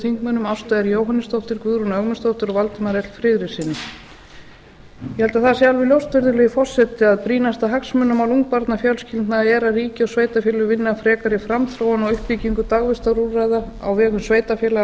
þingmanni ástu r jóhannesdóttur guðrúnu ögmundsdóttur og valdimari l friðrikssyni ég held að það sé alveg ljóst virðulegi forseti að brýnasta hagsmunamál ungbarnafjölskyldna að ríki og sveitarfélög vinni að frekari framþróun og uppbyggingu dagvistarúrræða á vegum sveitarfélaga